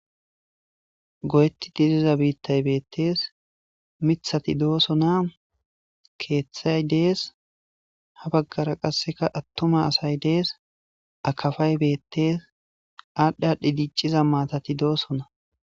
Go'etti diziza biittay beettees mithati doosona keeththay dees ha baggara qasseka attuma asay dees akafay beettees aadhdhiadhdhi diic'iza maatati doosona.